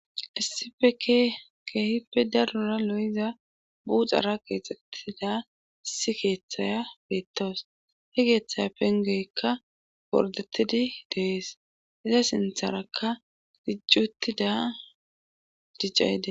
issifeke keehippe darura lo7iza buuxara qeexxettida issi keeththaya beettoos he geeththaya pengeykka bordettidi dees iza sintharakka dijcuttida diccayde